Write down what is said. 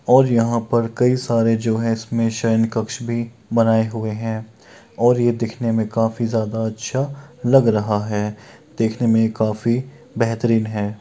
और यहां पर कई सारे जो है इसमें सायं कक्ष भी बनाए हुए हैं और ये दिखने में काफी ज्यादा अच्छा लग रहा है देखने में काफी बेहतरीन है।